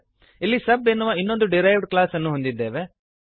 ಇಲ್ಲಿ ಸಬ್ ಎನ್ನುವ ಇನ್ನೊಂದು ಡಿರೈವ್ಡ್ ಕ್ಲಾಸ್ ಅನ್ನು ಹೊಂದಿದ್ದೇವೆ